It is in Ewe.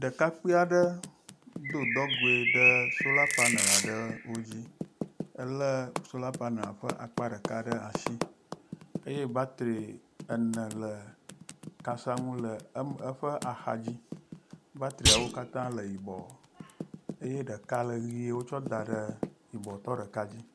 Ɖekakpui aɖe do dɔgoe ɖe sola panel aɖewo dzi. Elé sola panel ƒe akpa ɖeka ɖe asi eye batri ene le kasanu le eme eƒe axadzi, batriawo katã le yibɔ eye ɖeka le ʋɛ̃e wotsɔ da ɖe yibɔtɔ ɖeka dzi.